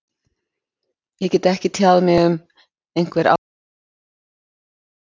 Ég get ekki tjáð mig um einhver ákveðin félög.